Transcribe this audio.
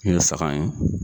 saga in